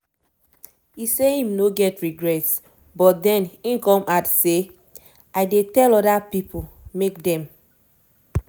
e say im no get regrets but den e come add say: "i dey tell oda pipo make dem